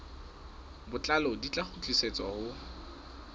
botlalo di tla kgutlisetswa ho